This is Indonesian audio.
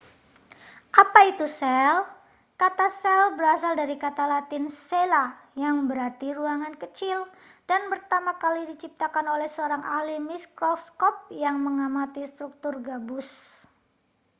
apa itu sel kata sel berasal dari kata latin cella yang berarti ruangan kecil dan pertama kali diciptakan oleh seorang ahli mikroskop yang mengamati struktur gabus